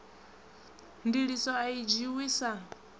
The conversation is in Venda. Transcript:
ndiliso a i dzhiiwi sa